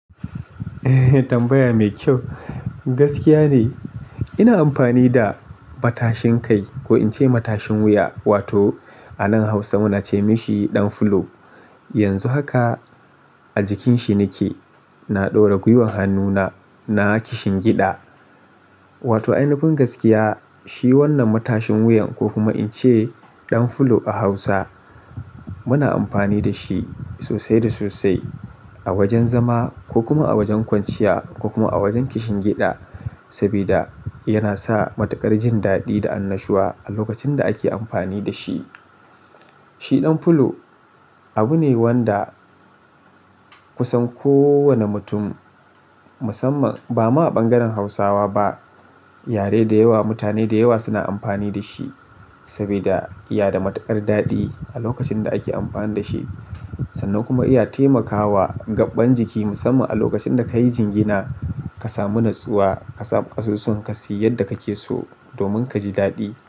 Tambaya mai kyau. Gaskiya ne ina amfani da matashin kai ko in ce matashin wuya wato a nan Hausa muna ce mashi ɗan fulo. Yanzu haka a jikin shi nake, na ɗaura gwiwan hannuna na kishin gida. Wato ainifin gaskiya shi wannan matashin wuyan ko kuma in ce ɗan fulo a Hausa muna amfani da shi sosai da sosai a wajen zama ko kuma a wajen kwanciya ko kuma a wajen kishin giɗa. Sabida yana sa matuƙar jin daɗi da annashuwa a lokacin da ake amfani da shi. Shi ɗan fulo abu ne wanda kusan kowane mutum musamman ba ma a ɓangaren Hausawa ba, yare da yawa, mutane da yawa suna amfani da shi sabida iya da matuƙar daɗi a lokacin da ake amfani da shi sannan kuma iya taimakawa gaɓɓan jiki musamman a lokacin da ka yi jingina ka samu natsuwa, ka samu ƙasusuwa ka su yi yadda kake so domin ka ji daɗi.